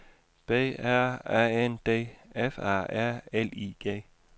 B R A N D F A R L I G